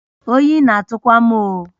Oyi na-atụ kwa m oh!